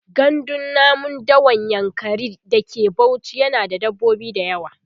gandun namun dawan yankari da ke Bauchi yana da dabbobi da yawa